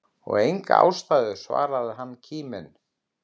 Enga ástæðu svarar hann kíminn.